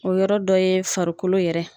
O yɔrɔ dɔ ye farikolo yɛrɛ.